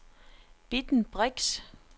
Bitten Brix